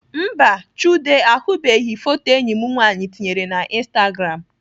Mba, Chude ahụbeghị foto enyi m nwaanyị tinyere na instagram